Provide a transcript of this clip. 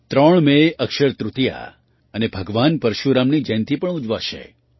ત્રણ મેએ અક્ષય તૃતીયા અને ભગવાન પરશુરામની જયંતી પણ ઉજવાશે